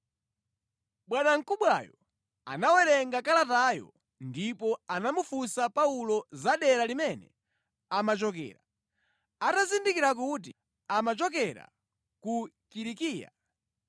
Bwanamkubwayo anawerenga kalatayo ndipo anamufunsa Paulo za dera limene amachokera. Atazindikira kuti amachokera ku Kilikiya,